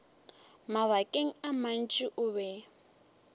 mabakeng a mantši o be